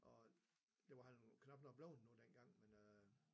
Og det var han knapt noget bleven nu dengang men øh